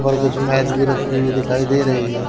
और कुछ मैज भी रखी हुई दिखाई दे रही हैं।